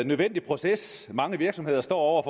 nødvendige proces mange virksomheder står over